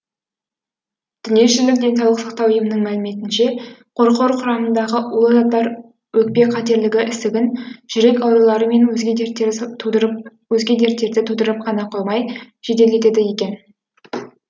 дүниежүзілік денсаулық сақтау ұйымының мәліметінше қорқор құрамындағы улы заттар өкпе қатерлі ісігін жүрек аурулары мен өзге дерттерді тудырып қана қоймай жеделдетеді екен